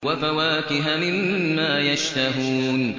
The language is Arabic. وَفَوَاكِهَ مِمَّا يَشْتَهُونَ